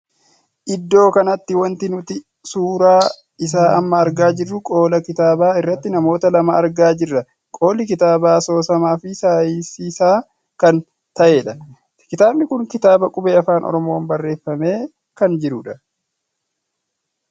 Iddoo kanatti wanti nuti suuraa isaa amma argaa jirru qolaa kitaaba irratti namoota lama argaa jirra. qolli kitaabaa asoosamaa fi saayisiisaa kan taheedha. kitaabni kun kitaabaa qubee Afaan Oromoon barreeffamee kan jirudha.